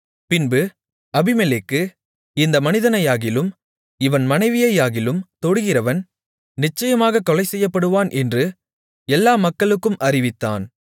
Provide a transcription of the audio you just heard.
பின்பு அபிமெலேக்கு இந்த மனிதனையாகிலும் இவன் மனைவியையாகிலும் தொடுகிறவன் நிச்சயமாகக் கொலைசெய்யப்படுவான் என்று எல்லா மக்களுக்கும் அறிவித்தான்